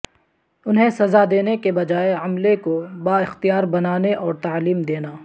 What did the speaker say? انہیں سزا دینے کے بجائے عملے کو بااختیار بنانے اور تعلیم دینا